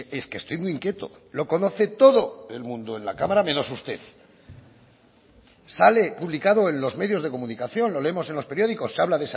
es que estoy muy inquieto lo conoce todo el mundo en la cámara menos usted sale publicado en los medios de comunicación lo leemos en los periódicos se habla